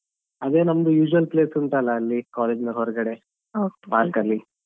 ಅದೇ ನಮ್ದು usual place ಉಂಟಲ್ಲ ಅಲ್ಲಿ college ಯಿಂದ ಹೊರಗಡೆ park ಅಲ್ಲಿ.